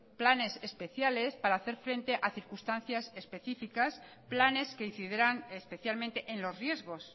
planes especiales para hacer frente a circunstancias específicas planes que incidirán especialmente en los riesgos